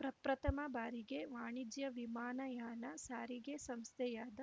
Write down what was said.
ಪ್ರಪ್ರಥಮ ಬಾರಿಗೆ ವಾಣಿಜ್ಯ ವಿಮಾನಯಾನ ಸಾರಿಗೆ ಸಂಸ್ಥೆಯಾದ